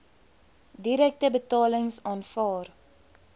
direkte betalings aanvaar